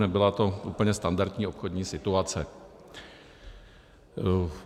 Nebyla to úplně standardní obchodní situace.